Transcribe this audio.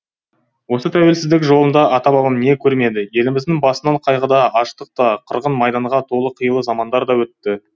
осы тәуелсіздік жолында ата бабам не көрмеді еліміздің басынан қайғыда аштық та қырғын майданға толы қилы замандар да өтті